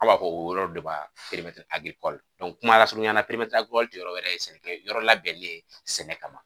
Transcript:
A b'a fɔ o yɔrɔ de ma kuma lasurunya la jɔyɔrɔ wɛrɛ ye sɛnɛkɛ yɔrɔ labɛnnen sɛnɛ kama